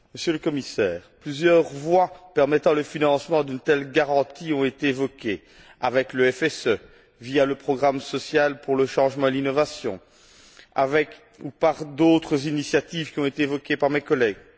Monsieur le Commissaire, plusieurs voies permettant le financement d'une telle garantie ont été évoquées, avec le FSE, via le programme social pour le changement et l'innovation, avec ou par d'autres initiatives qui ont été évoquées par mes collègues.